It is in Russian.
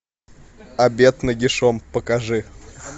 обед нагишом покажи